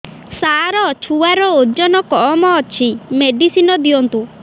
ସାର ଛୁଆର ଓଜନ କମ ଅଛି ମେଡିସିନ ଦିଅନ୍ତୁ